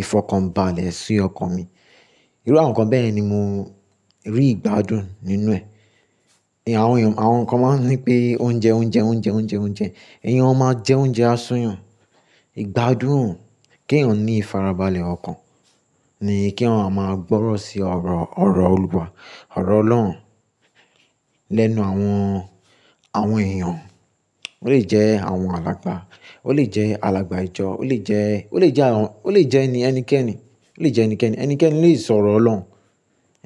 ìfọ̀kànbalẹ̀ sí ọkàn mi. Irú àwọn nǹkan bẹ́ẹ̀yen ni mo rí ìgbádùn nínú ẹ̀. Àwọn nǹkan máa ń wí pé oúnjẹ, oúnjẹ, oúnjẹ, oúnjẹ, oúnjẹ. Ẹ̀yàn máa jẹ oúnjẹ á sún yàn. Ìgbádùn kí èèyàn ní ìfarabalẹ̀ ọkàn ni kí èyàn máa gbọ́rọ̀ sí ọ̀rọ̀, ọ̀rọ̀ Olúwa, ọ̀rọ̀ Ọlọ́run lẹ́nu àwọn, àwọn èèyàn. Ó lè jẹ́ àwọn alàgbà, ó lè jẹ́ alàgbà ìjọ, ó lè jẹ́, ó lè jẹ́ àwọn, ó lè jẹ́ ẹnikẹ́ni, ó lè jẹ́ ẹnikẹ́ni. Ẹnikẹ́ni lè sọ̀rọ̀ Ọlọ́run,